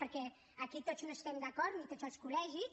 perquè aquí tots no hi estem d’acord ni tots els col·legis